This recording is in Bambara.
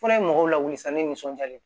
Fura in mɔgɔw lawuli sanni nisɔn diyalen